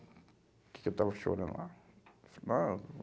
O que que eu estava chorando lá? Eu falei, ah